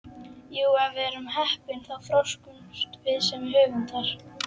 Jú, ef við erum heppin þá þroskumst við sem höfundar.